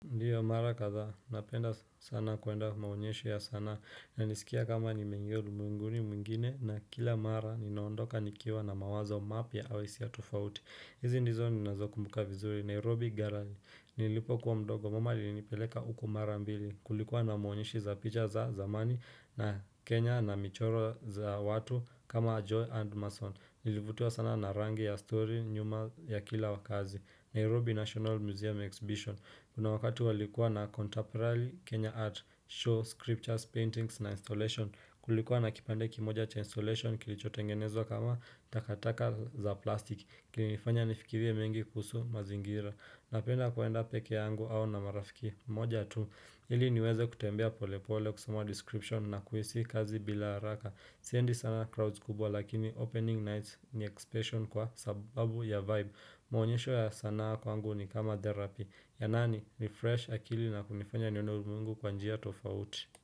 Ndio mara kathaa, napenda sana kwenda maonyesho ya sana, ninasikia kama nimeingia ulimwenguni mwingine na kila mara ninaondoka nikiwa na mawazo mapya au hisia tofauti. Hizi ndizo ninazo kumbuka vizuri, Nairobi Gallery, nilipokuwa mdogo, mama alinipeleka huku mara mbili, kulikuwa na maonyesho za picha za zamani na Kenya na michoro za watu kama Joy and Mason. Nilivutiwa sana na rangi ya story nyuma ya kila wakazi. Nairobi National Museum Exhibition Kuna wakati walikuwa na contemporary Kenya art show, scriptures, paintings na installation Kulikuwa na kipande kimoja cha installation kilichotengenezwa kama takataka za plastiki. Kilinifanya nifikirie mengi kuhusu mazingira. Napenda kwenda pekee yangu au na marafiki moja tu, ili niweze kutembea pole pole kusoma description na kuhisi kazi bila haraka Siendi sana crowds kubwa lakini opening night ni exhibition kwa sababu ya vibe Mwonyesho ya sanaa kwangu ni kama therapy. Yananirefresh akili na kunifanya nione ulimwengu kwa njia tofauti.